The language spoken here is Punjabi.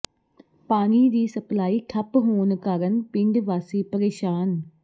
ਪਾਣੀ ਦੀ ਸਪਲਾਈ ਠੱਪ ਹੋਣ ਕਾਰਨ ਪਿੰਡ ਵਾਸੀ ਪ੍ਰੇਸ਼ਾਨ